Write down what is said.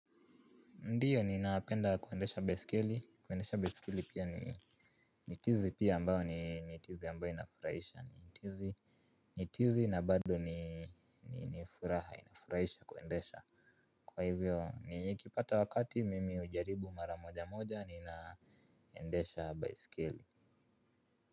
Ndio ninapenda kuendesha baisikeli, kuendesha baisikeli pia ni tizi pia ambayo ni tizi ambayo inafurahisha. Ni tizi na bado ni furaha, inafurahisha kuendesha. Kwa hivyo nikipata wakati mimi hujaribu mara moja moja ninaendesha baisikeli.